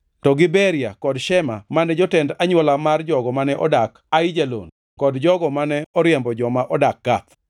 to gi Beria kod Shema mane jotend anywola mar jogo mane odak Aijalon kod jogo mane oriembo joma nodak Gath.